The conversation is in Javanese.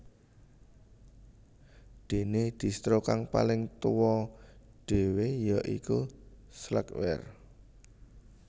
Dene Distro kang paling tuwa dhewe ya iku Slackware